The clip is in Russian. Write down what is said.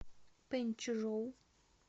пэнчжоу